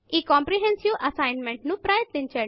ఈ comprehensive assignment ను ప్రయత్నించండి